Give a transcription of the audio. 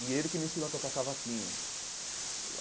E ele que me ensinou a tocar cavaquinho.